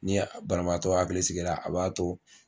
Ni a banabaatɔ hakili sigi la a b'a to